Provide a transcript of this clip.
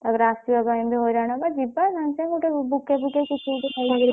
ତାପରେ ଆସିବା ପାଇଁ ବି ହଇରାଣ ହେବା ଯିବା ସାଙ୍ଗେ ସାଙ୍ଗେ ଗୋଟେ ବୁକେ ଫୁକେ କିଛି ଗୋଟେ ନେଇଯିବା ।